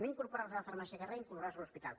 no incorporar los a la farmàcia i cobrar los a l’hospital